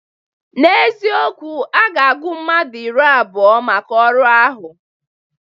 N'ezikowu, a ga-agụ mmadụ iri abụọ maka ọrụ ahụ.